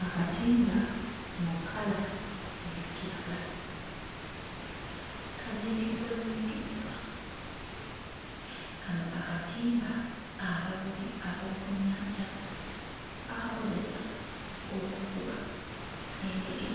Akatimba mu kkala eya kiragala kazingiddwazingiddwa. Kano akatimba abavubi ab'oku nnyanja bakakozesa okuvuba engege,